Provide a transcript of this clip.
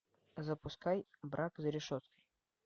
запускай брак за решеткой